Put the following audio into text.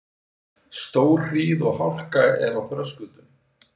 Stórhríð og hálka er á Þröskuldum